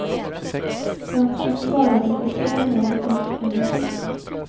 Svensken svarade för två mål och en assist.